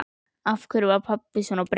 Af hverju var pabbi svona breyttur?